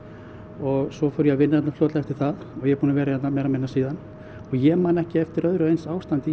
og svo fór ég að vinna hérna fljótlega eftir það ég er búinn að vera hérna meira og minna síðan og ég man ekki eftir öðru eins ástandi